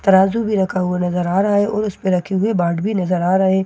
तराजू भी रखा हुआ नजर आ रहा हैं और उसपे रखे हुए बाट भी नजर आ रहे --